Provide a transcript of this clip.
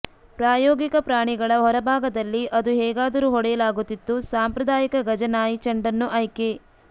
ಪ್ರಾಯೋಗಿಕ ಪ್ರಾಣಿಗಳ ಹೊರಭಾಗದಲ್ಲಿ ಅದು ಹೇಗಾದರೂ ಹೊಡೆಯಲಾಗುತ್ತಿತ್ತು ಸಾಂಪ್ರದಾಯಿಕ ಗಜ ನಾಯಿ ಚೆಂಡನ್ನು ಆಯ್ಕೆ